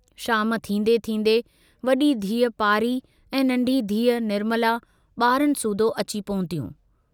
शाम थींदें थींदें वडी धीउ पारी ऐं नन्ढी धीउ निर्मला बारनि सूधो अची पहुतियूं।